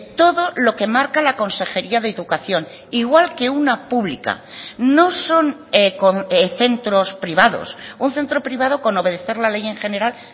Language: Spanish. todo lo que marca la consejería de educación igual que una pública no son centros privados un centro privado con obedecer la ley en general